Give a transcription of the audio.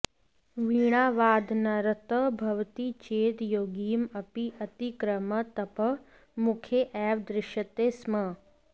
वीणावादनरतः भवति चेत् योगीम् अपि अतिक्रम्य तपः मुखे एव दृश्यते स्म